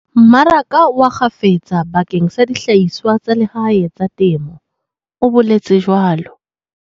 "mmaraka wa kgafetsa bakeng sa dihlahiswa tsa lehae tsa temo," o boletswe jwalo.